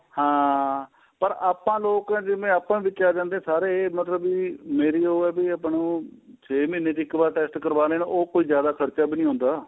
ਹਾਂ ਪਰ ਆਪਾਂ ਲੋਕ ਜਿਵੇਂ ਆਪਾਂ ਵਿੱਚ ਆ ਜਾਂਦੇ ਆ ਸਾਰੇ ਮਤਲਬ ਮੇਰੀ ਉਹ ਏ ਬੀ ਆਪਾਂ ਨੂੰ ਛੇ ਮਹੀਨੇ ਚ ਇੱਕ ਵਾਰ test ਕਰਵਾਨੇ ਏ ਨਾ ਉਹ ਕੋਈ ਜਿਆਦਾ ਖਰਚਾ ਵੀ ਨੀਂ ਹੁੰਦਾ